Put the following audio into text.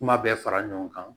Kuma bɛɛ fara ɲɔgɔn kan